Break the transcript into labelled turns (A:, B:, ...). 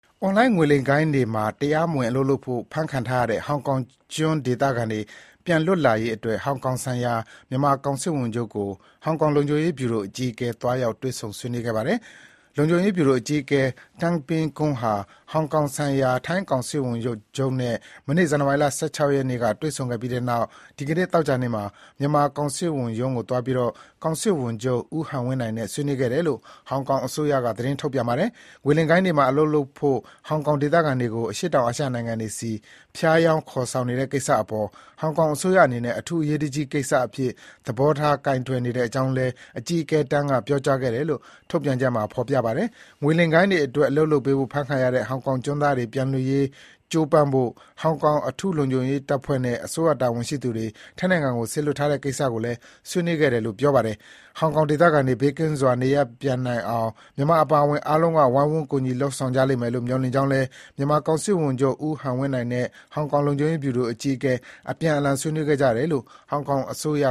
A: အွန်လိုင်းငွေလိမ်ဂိုဏ်းတွေမှာ တရားမဝင်အလုပ်လုပ်ဖို့ အဖမ်းခံထားရတဲ့ ဟောင်ကောင်ကျွန်း ဒေသခံတွေ ပြန်လွတ်လာရေးအတွက် ဟောင်ကောင်ဆိုင်ရာ မြန်မာကောင်စစ်ဝန်ချုပ်ကို ဟောင်ကောင်လုံခြုံရေးဗျူရိုအကြီးအကဲ သွားရောက်တွေ့ဆုံ ဆွေးနွေးခဲ့ပါတယ်။ လုံခြုံရေးဗျူရိုအကြီးအကဲ Tang Ping-keung ဟာ ဟောင်ကောင်ဆိုင်ရာ ထိုင်းကောင်စစ်ဝန်ချုပ်နဲ့ မနေ့ ဇန်နဝါရီ ၁၆ ရက် တွေ့ဆုံဆွေးနွေးခဲ့ပြီးနောက် ဒီနေ့ သောကြာနေ့မှာ မြန်မာကောင်စစ်ဝန်ရုံးကို သွားပြီး ကောင်စစ်ဝန်ချုပ် ဦးဟန်ဝင်းနိုင်နဲ့ ဆွေးနွေးခဲ့တယ်လို့ ဟောင်ကောင်အစိုးရက သတင်းထုတ် ပြန်ပါတယ်။ ငွေလိမ်ဂိုဏ်းတွေမှာ အလုပ်လုပ်ဖို့ ဟောင်ကောင်ဒေသခံတွေကို အရှေ့တောင်အာရှ နိုင်ငံတွေဆီ ဖျားယောင်း ခေါ်ယူနေတဲ့ကိစ္စအပေါ် ဟောင်ကောင်အစိုးရအနေနဲ့ အထူးအရေးတကြီး ကိစ္စအဖြစ် သဘောထားကိုင်တွယ်နေတဲ့အကြောင်းလည်း အကြီးအကဲ Tang ကပြောကြားခဲ့တယ်လို့ ထုတ်ပြန်ချက်မှာ ဖော်ပြပါတယ်။ ငွေလိမ်ဂိုဏ်းတွေအတွက် အလုပ်လုပ်ပေးဖို့ အဖမ်းခံရတဲ့ ဟောင်ကောင်ကျွန်းသားတွေ ပြန်လွတ်ရေး ကြိုးပမ်းဖို့ ဟောင်ကောင်အထူးလုံခြုံရေးတပ်ဖွဲ့နဲ့ အစိုးရတာဝန်ရှိသူတွေ ထိုင်းနိုင်ငံကို စေလွှတ်ထား တဲ့ကိစ္စကို ဆွေးနွေးခဲ့တယ်လို့ ပြောပါတယ်။ ဟောင်ကောင်ဒေသခံတွေ ဘေးကင်းစွာ နေရပ်ပြန်နိုင် အောင် မြန်မာအပါအဝင် အားလုံးက ဝိုင်းဝန်း ကူညီလုပ်ဆောင်ကြလိမ့်မယ်လို့ မျှော်လင့်ကြောင်း လည်း မြန်မာကောင်စစ်ဝန်ချုပ် ဦးဟန်ဝင်းနိုင်နဲ့ ဟောင်ကောင် လုံခြုံရေး ဗျူရိုအကြီးအကဲ အပြန် အလှန် ဆွေးနွေးခဲ့ကြတယ်လို့ ဟောင်ကောင်အစိုးရ